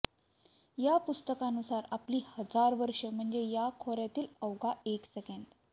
या पुस्तकानुसार आपली हजार वर्ष म्हणजे या खोऱ्यातील अवघा एक सेकंद